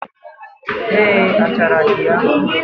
Eé, achara dị ya